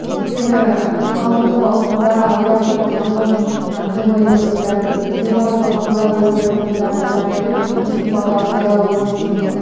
өйткені алдыңғы маусымда оян батырдың алғашқы шыққан демо эпизодтарын демалыс уақытыңда өзім бір тыңдап қарап едім дыбыстың сапасы өте сұмдық